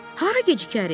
Hara gecikərik?